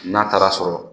N'a taara sɔrɔ